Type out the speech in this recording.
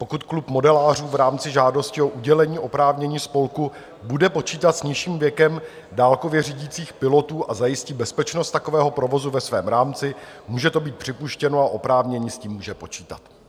Pokud klub modelářů v rámci žádosti o udělení oprávnění spolku bude počítat s nižším věkem dálkově řídících pilotů a zajistí bezpečnost takového provozu ve svém rámci, může to být připuštěno a oprávněný s tím může počítat.